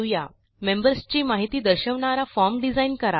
members ची माहिती दर्शवणारा फॉर्म डिझाइन करा